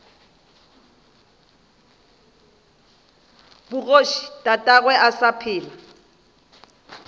bogoši tatagwe a sa phela